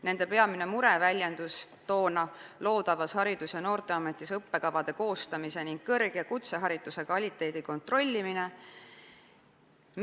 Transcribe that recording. Nende peamine mure oli loodavas Haridus- ja Noorteametis õppekavade koostamise ning kõrg- ja kutsehariduse kvaliteedi kontrollimine.